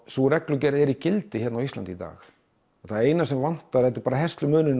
sú reglugerð er í gildi á Íslandi í dag eina sem vantar er herslumuninn